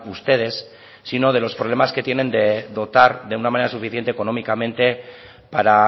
ustedes sino de los problemas que tienen de dotar de una manera suficiente económicamente para